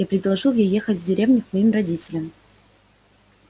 я предложил ей ехать в деревню к моим родителям